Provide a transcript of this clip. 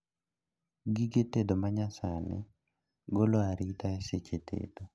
Gige tedo manyasani golo arita seche tedo